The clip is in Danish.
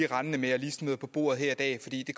rendende med og smider på bordet her i dag fordi vi